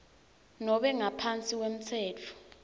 nobe ngaphansi kwemtsetfo